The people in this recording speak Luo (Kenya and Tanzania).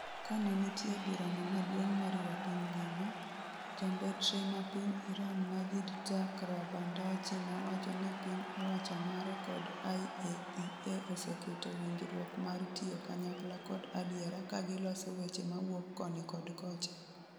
kanenitie bura no maduong moriwo piny ngima, jambetre ma piny Iran Majid Takht Ravandachi nowacho ni piny owacho mare kod IAEA 'oseketo winjruok mar tiyo kanyakla kod adiera' ka giloso weche mawuok koni kod kocha